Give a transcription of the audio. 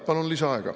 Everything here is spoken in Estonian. Palun lisaaega.